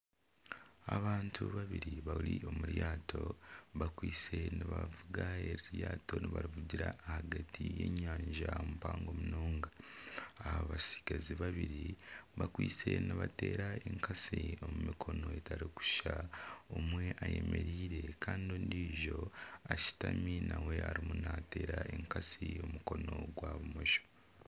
Abantu babiri bari omu ryato bakwise nibavuga eryato nibarivugira ahagati y'enyanja mpango munonga. Abatsigazi babiri bakwise nibateera enkatsi omu mikono etarikushushana. Omwe ayemereire kandi ondiijo ashutami nawe ariyo naateera enkatsi aha mukono gwa bumosho.